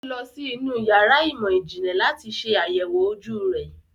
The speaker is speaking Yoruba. Ọ́ lọ sí inú yàrá ìmọ̀-ìjìnlẹ̀ láti ṣe àyẹ̀wò ojú rẹ̀.